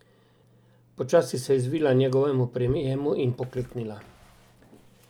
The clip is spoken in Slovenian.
Počasi se je izvila njegovemu prijemu in pokleknila.